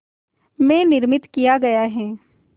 में निर्मित किया गया है